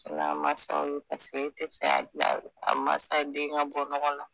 N'a masaw ye paseke e te fɛ a la a masa den ka bɔ ɲɔgɔ la